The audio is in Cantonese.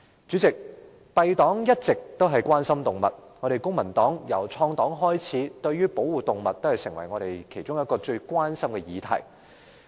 公民黨一直關心動物，由創黨開始，保護動物已成為我們其中一項最關注的議題。